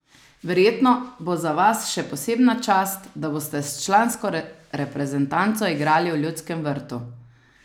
Verjetno bo za vas še posebna čast, da boste s člansko reprezentanco igrali v Ljudskem vrtu?